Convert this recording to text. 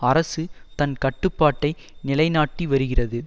அரசு தன் கட்டுப்பாட்டை நிலைநாட்டி வருகிறது